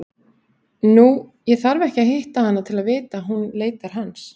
Nei, ég þarf ekki að hitta hana til að vita að hún leitar hans.